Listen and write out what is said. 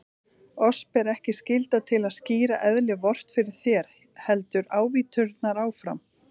Oss ber ekki skylda til að skýra eðli Vort fyrir þér, héldu ávíturnar áfram.